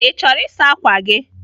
Ị chọrọ ịsa ákwà gị?